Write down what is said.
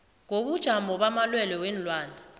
ngobujamo bamalwelwe weenlwana